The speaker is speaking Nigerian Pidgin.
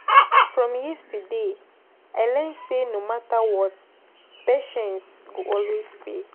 From yesterday, I learn say no matter what, patience go always pay.